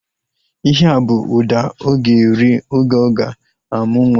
Ihea bụ ụda ọ ga-eri oge ọ ga-amụ nwa